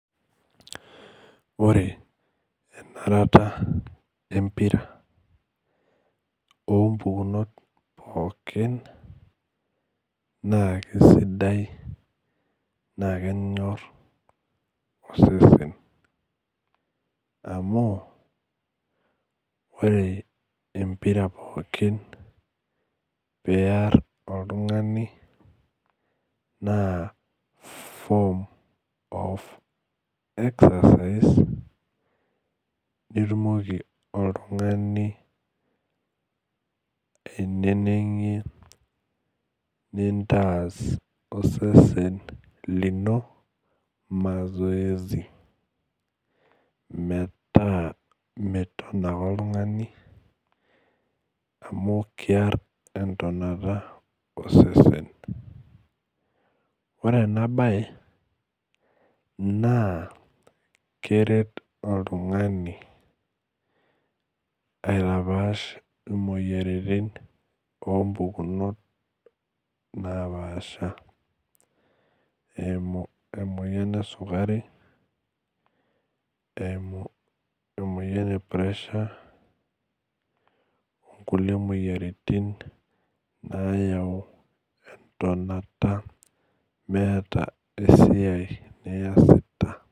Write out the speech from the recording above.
Ore enarata empira ompukunot poki nakisidai na kenyor osesen amu ore empira pooki piar oltungani na form of exercise oltungani ainenengire nintas osesen lino mazoezi metaa meton ake oltungani amu kear entonata osesen keret oltungani aitapash imoyiaritin ompukunot napaasha eimu emoyian esukuri eimu emoyian e pressure onkulie moyiaritin nayau tonata meeta esiai niasita